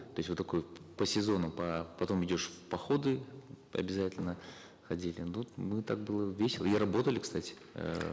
то есть вот такой по сезонам потом идешь в походы обязательно ходили ну вот мы так было весело и работали кстати эээ